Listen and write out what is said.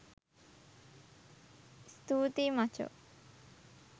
ස්තූතියි මචෝ